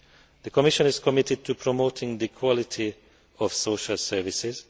The Commission is committed to promoting the quality of social services.